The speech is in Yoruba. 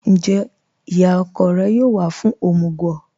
Ńjẹ́ iyá ọ̀kọ̀ rẹ̀ yóò wà fún omugwo?